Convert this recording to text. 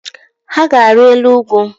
Ha ga-ari elu ugwu